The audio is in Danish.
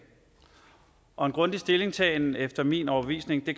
og en grundig stillingtagen efter min overbevisning at